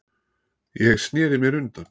Ég sneri mér undan.